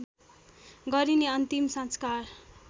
गरिने अन्तिम संस्कार